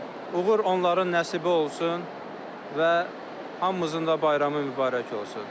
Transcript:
Uğur onların nəsibə olsun və hamımızın da bayramı mübarək olsun.